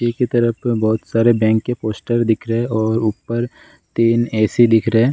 तरफ बहुत सारे बैंक के पोस्टर दिख रहे हैं और ऊपर तीन ए.सी. दिख रहे हैं।